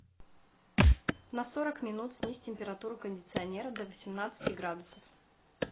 на сорок минут снизь температуру кондиционера до восемнадцати градусов